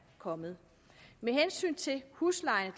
kommet med hensyn til huslejen